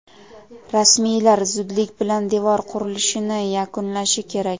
rasmiylar zudlik bilan devor qurilishini yakunlashi kerak.